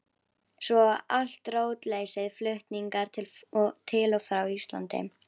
Svo allt rótleysið, flutningar til og frá Íslandi.